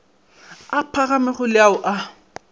a phagamego le ao a